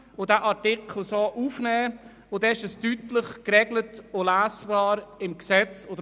Dann ist der Sachverhalt deutlich geregelt und im Gesetz verankert.